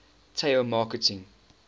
tao marking